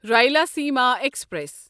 Rayalaseema express